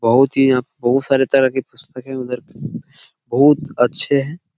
बहुत ही यहाँ बहुत सारे तरह के पुस्तक हैं इधर बहुत अच्छे हैं।